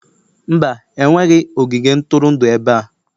Mba, enweghị ogige ntụrụndụ ebe a